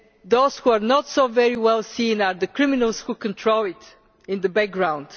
Those who are not so very well seen are the criminals who control it in the background.